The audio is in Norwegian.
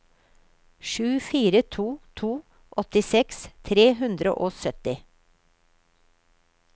sju fire to to åttiseks tre hundre og sytti